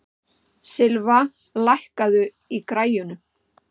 Silfa, lækkaðu í græjunum.